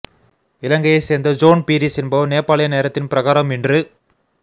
இலங்கையை சேர்ந்த ஜோன் பீரிஸ் என்பவர் நேபாளிய நேரத்தின் பிரகாரம் இன்று